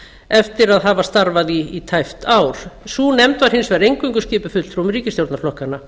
eftir að hafa starfað í tæpt ár sú nefnd var hins vegar eingöngu skipuð fulltrúum ríkisstjórnarflokkanna